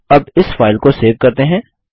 अब इस फाइल को सेव करते हैं